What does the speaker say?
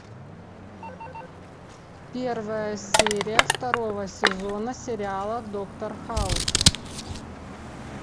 первая серия второго сезона сериала доктор хаус